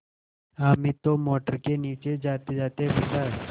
हामिद तो मोटर के नीचे जातेजाते बचा